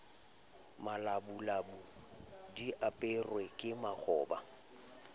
malabulabu di aperwe ke makgoba